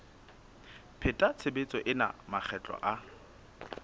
pheta tshebetso ena makgetlo a